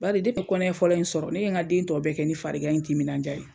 Bari ne ye n ka kɔnɛya fɔlɔ in sɔrɔ, ne ye n ka den tɔ bɛɛ kɛ ni fari gan ye timinandiya ye.